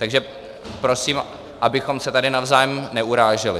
Takže prosím, abychom se tady navzájem neuráželi.